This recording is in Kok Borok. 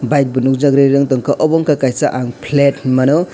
bike bo nogjagoi rirong wngtanko obo wngka kaisa ang plate hingmano.